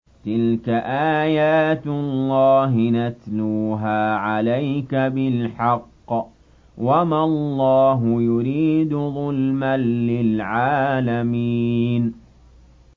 تِلْكَ آيَاتُ اللَّهِ نَتْلُوهَا عَلَيْكَ بِالْحَقِّ ۗ وَمَا اللَّهُ يُرِيدُ ظُلْمًا لِّلْعَالَمِينَ